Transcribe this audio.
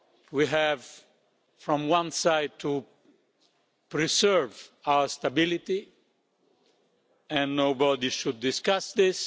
We have, on the one side, to preserve our stability and nobody should discuss this.